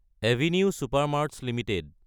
avenue supermarts Ltd